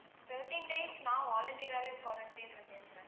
thirteen days நான் volunteer ஆவே quarantine ல இருக்கேன் sir